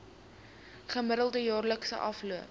gemiddelde jaarlikse afloop